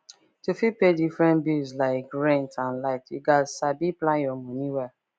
to fit pay differerent bills like rent and light you gats sabi plan your money well